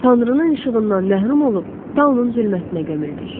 Tanrının işığından məhrum olub Tanrının zülmətinə gömüldük.